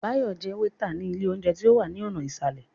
Báyọ̀ jẹ́ wétà ní ilé óúnjẹ tí ó wà ní ọ̀nà ìsàlẹ̀